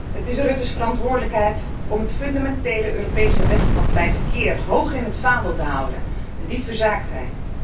Het is Rutte's verantwoordelijkheid om het fundamentele Europese recht van vrij verkeer hoog in het vaandel te houden, en die verzaakt hij.